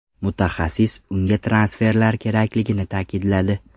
Mutaxassis unga transferlar kerakligini ta’kidladi.